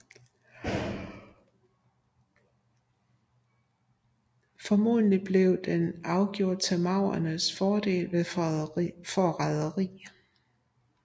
Formodentlig blev den afgjort til maurernes fordel ved forræderi